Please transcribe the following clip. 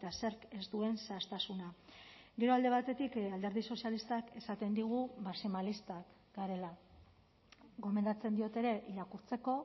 zerk ez duen zehaztasuna gero alde batetik alderdi sozialistak esaten digu maximalistak garela gomendatzen diot ere irakurtzeko